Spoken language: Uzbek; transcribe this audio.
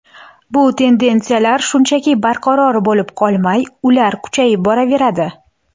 Bu tendensiyalar shunchaki barqaror bo‘lib qolmay, ular kuchayib boraveradi.